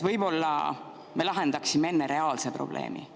Võib-olla me lahendaksime enne reaalse probleemi?